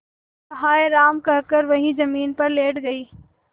वह हाय राम कहकर वहीं जमीन पर लेट गई